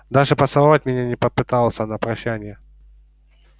даже поцеловать меня не попытался на прощанье